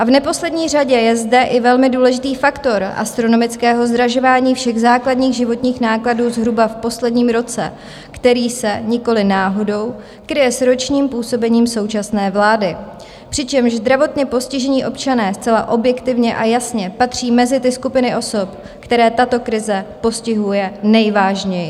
A v neposlední řadě je zde i velmi důležitý faktor astronomického zdražování všech základních životních nákladů zhruba v posledním roce, který se nikoliv náhodou kryje s ročním působením současné vlády, přičemž zdravotně postižení občané zcela objektivně a jasně patří mezi ty skupiny osob, které tato krize postihuje nejvážněji.